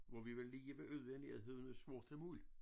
Hvor vi var lige ved ude i nærheden af Sorte Muld